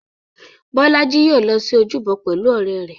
Bọ́lá í yóò lọ sí ojúbọ pẹ̀lú ọ̀rẹ́ rẹ̀.